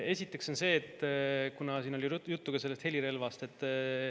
Esiteks, siin oli juttu helirelvast.